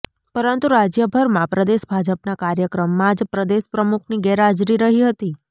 પરંતુ રાજ્યભરમાં પ્રદેશ ભાજપના કાર્યક્રમમાં જ પ્રદેશ પ્રમુખની ગેરહાજરી રહી હતી